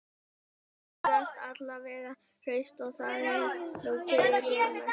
Börnin virðast alla vega hraust og það er nú fyrir mestu